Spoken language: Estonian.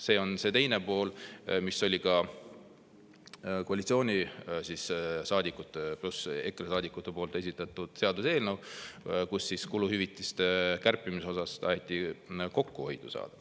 See on see teine pool, mis oli ka koalitsioonisaadikute ja EKRE saadikute esitatud seaduseelnõul, kus kuluhüvitiste kärpimisega taheti kokkuhoidu saada.